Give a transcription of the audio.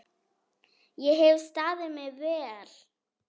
Ég hef staðið mig vel.